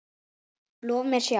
Lof mér sjá